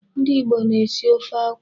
Ndị Igbo na-esi ofe akwụ